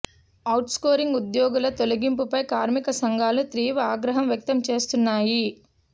out sourcing ఉద్యోగుల తొలగింపుపై కార్మిక సంఘాలు తీవ్ర ఆగ్రహం వ్యక్తం చేస్తున్నాయి